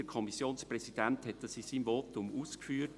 Der Kommissionspräsident hat dies in seinem Votum ausgeführt.